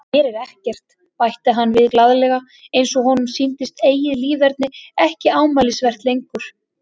Gerir ekkert, bætti hann við glaðlega eins og honum sýndist eigið líferni ekki ámælisvert lengur.